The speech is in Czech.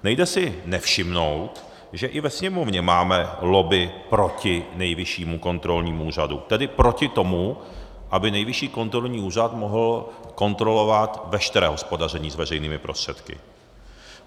Nejde si nevšimnout, že i ve Sněmovně máme lobby proti Nejvyššímu kontrolnímu úřadu, tedy proti tomu, aby Nejvyšší kontrolní úřad mohl kontrolovat veškeré hospodaření s veřejnými prostředky.